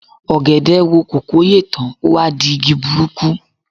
Ọ̀gẹ̀dẹ̀ wo kòkó yè tán, ó wá di igi burúkú